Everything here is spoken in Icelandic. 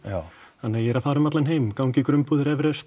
þannig að ég er að fara út um allan heim ganga í grunnbúðir Everest